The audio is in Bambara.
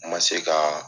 N ma se kaa